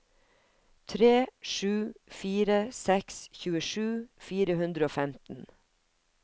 tre sju fire seks tjuesju fire hundre og femten